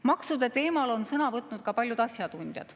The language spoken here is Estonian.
Maksude teemal on sõna võtnud ka paljud asjatundjad.